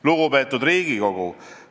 Lugupeetud Riigikogu!